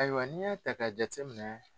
Ayiwa n'i y'a ta ka jate minɛ.